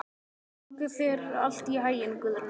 Gangi þér allt í haginn, Guðna.